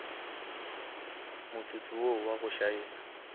motsotso wo wa go šaena